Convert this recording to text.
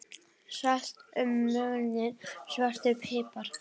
Salt og mulinn svartur pipar